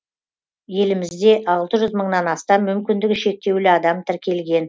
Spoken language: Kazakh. елімізде алты жүз мыңнан астам мүмкіндігі шектеулі адам тіркелген